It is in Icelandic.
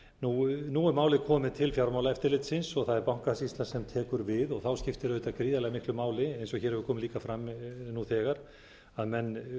nú er málið komið til fjármálaeftirlitsins og það er bankasýslan sem tekur við það skiptir auðvitað gríðarlega miklu máli eins og hér hefur komið líka fram nú þegar að menn